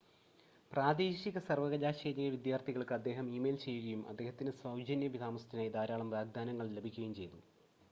പ്രാദേശിക സർവ്വകലാശാലയിലെ വിദ്യാർത്ഥികൾക്ക് അദ്ദേഹം ഇമെയിൽ ചെയ്യുകയും അദ്ദേഹത്തിന് സൗജന്യ താമസത്തിനായി ധാരാളം വാഗ്‌ദാനങ്ങൾ ലഭിക്കുകയും ചെയ്തു